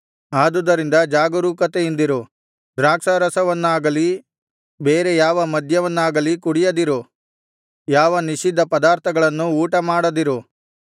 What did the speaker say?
ಆದುದರಿಂದ ಜಾಗರೂಕತೆಯಿಂದಿರು ದ್ರಾಕ್ಷಾರಸವನ್ನಾಗಲಿ ಬೇರೆ ಯಾವ ಮದ್ಯವನ್ನಾಗಲಿ ಕುಡಿಯದಿರು ಯಾವ ನಿಷಿದ್ಧ ಪದಾರ್ಥಗಳನ್ನು ಊಟಮಾಡದಿರು